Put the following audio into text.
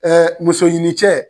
muso ɲini cɛ